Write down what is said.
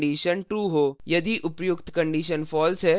यदि उपर्युक्त condition false है तो यह छूट जाता है